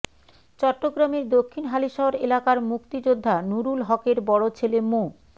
চট্টগামের দক্ষিন হালিশহর এলাকার মুক্তিযোদ্ধা নুরুল হকের বড় ছেলে মো